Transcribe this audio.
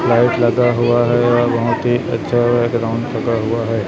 Light लगा हुआ है या बहोत ही अच्छा बैकग्राउंड लगा हुआ है।